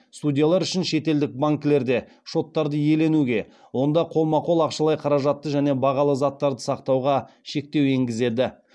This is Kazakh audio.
судьялар үшін шетелдік банкілерде шоттарды иеленуге онда қолма қол ақшалай қаражатты және бағалы заттарды сақтауға шектеу енгізеді